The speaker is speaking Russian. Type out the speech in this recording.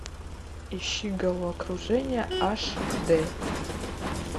ищи головокружение аш д